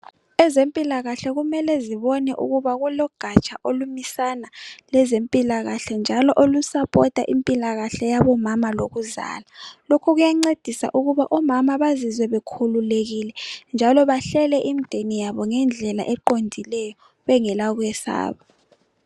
Ezempilakahle kumele zibone ukuba kulogatsha olumisana ngezempilakahle njalo olusapota impilakahle yabomama lokuzala lokhu kuya ncedisa omama bazizwe bekhululekile Njalo bahlele imndeni yabo ngendlela eqondileyo bengela kwesaba